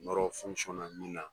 min na.